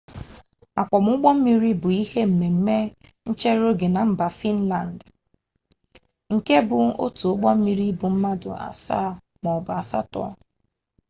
akwọm ụgbọmmiri bụ ihe mmemme nchereoge na mba finlandị nke bụ otu ụgbọmmiri ibu mmadụ asaa maọbụ asatọ